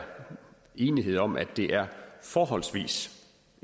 enighed om at det er forholdsvis